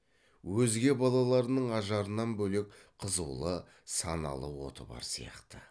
өзге балаларының ажарынан бөлек қызулы саналы оты бар сияқты